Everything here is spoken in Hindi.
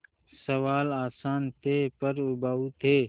सवाल आसान थे पर उबाऊ थे